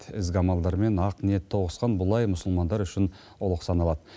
ізгі амалдар мен ақ ниет тоғысқан бұл ай мұсылмандар үшін ұлық саналады